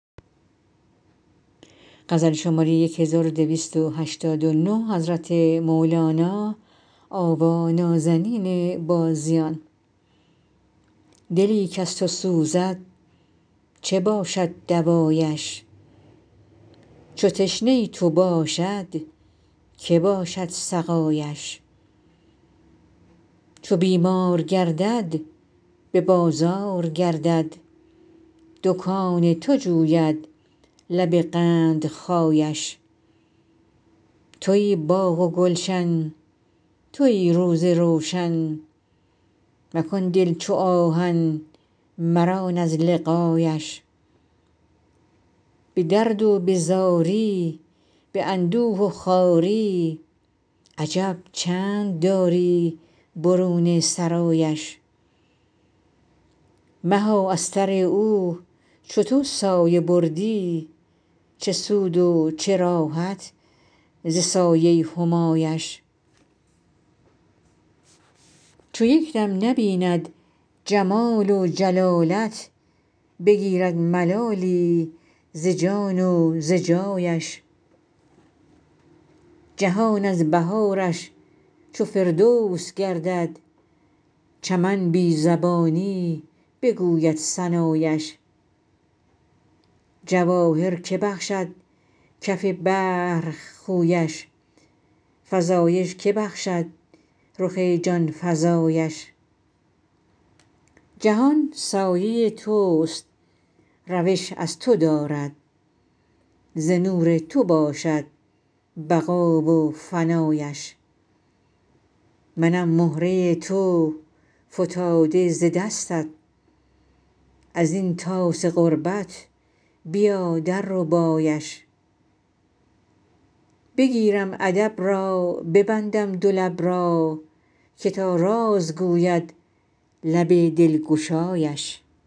دلی کز تو سوزد چه باشد دوایش چو تشنه تو باشد که باشد سقایش چو بیمار گردد به بازار گردد دکان تو جوید لب قندخایش توی باغ و گلشن توی روز روشن مکن دل چو آهن مران از لقایش به درد و به زاری به اندوه و خواری عجب چند داری برون سرایش مها از سر او چو تو سایه بردی چه سود و چه راحت ز سایه همایش چو یک دم نبیند جمال و جلالت بگیرد ملالی ز جان و ز جایش جهان از بهارش چو فردوس گردد چمن بی زبانی بگوید ثنایش جواهر که بخشد کف بحر خویش فزایش که بخشد رخ جان فزایش جهان سایه توست روش از تو دارد ز نور تو باشد بقا و فنایش منم مهره تو فتاده ز دستت از این طاس غربت بیا درربایش بگیرم ادب را ببندم دو لب را که تا راز گوید لب دلگشایش